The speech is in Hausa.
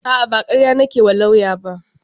A'a ba karya nake wa lauyan ba